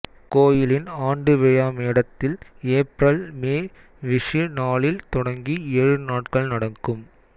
கோயிலின் ஆண்டு விழா மேடத்தில் ஏப்ரல்மே விஷூ நாளில் தொடங்கி ஏழு நாட்கள் நடக்கும்